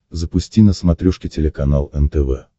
запусти на смотрешке телеканал нтв